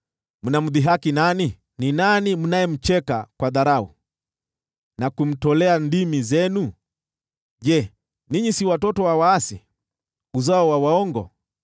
Mnamdhihaki nani? Ni nani mnayemcheka kwa dharau, na kumtolea ndimi zenu? Je, ninyi si watoto wa waasi, uzao wa waongo?